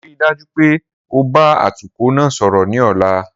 Rii daju pe o ba atukọ naa sọrọ ni ọla!